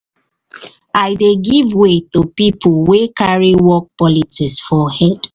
i dey give way to pipo way carry work politics for head.